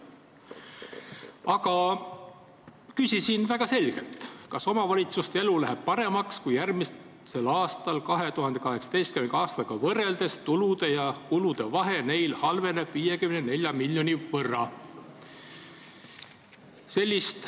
Aga ma küsisin väga selgelt, kas omavalitsuste elu läheb paremaks, kui nende tulude ja kulude vahe halveneb järgmisel aastal tänavusega võrreldes 54 miljoni võrra.